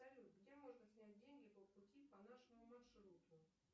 салют где можно снять деньги по пути по нашему маршруту